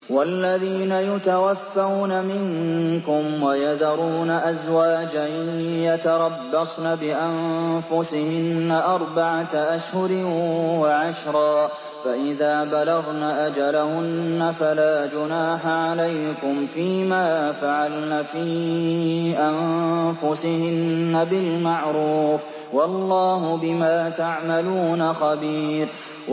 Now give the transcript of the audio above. وَالَّذِينَ يُتَوَفَّوْنَ مِنكُمْ وَيَذَرُونَ أَزْوَاجًا يَتَرَبَّصْنَ بِأَنفُسِهِنَّ أَرْبَعَةَ أَشْهُرٍ وَعَشْرًا ۖ فَإِذَا بَلَغْنَ أَجَلَهُنَّ فَلَا جُنَاحَ عَلَيْكُمْ فِيمَا فَعَلْنَ فِي أَنفُسِهِنَّ بِالْمَعْرُوفِ ۗ وَاللَّهُ بِمَا تَعْمَلُونَ خَبِيرٌ